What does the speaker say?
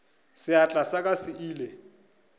seatla sa ka se ile